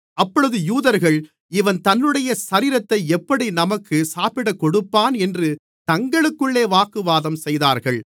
அப்பொழுது யூதர்கள் இவன் தன்னுடைய சரீரத்தை எப்படி நமக்கு சாப்பிடக் கொடுப்பான் என்று தங்களுக்குள்ளே வாக்குவாதம் செய்தார்கள்